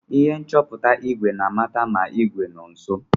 Ihe nchọta igwe na-amata ma igwe nọ nso.